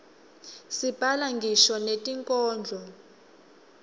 sibhala ngisho netinkhondlo